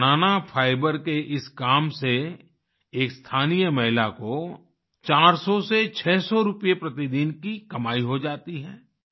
बनाना fibre के इस काम से एक स्थानीय महिला को चार सौ से छह सौ रुपये प्रतिदिन की कमाई हो जाती है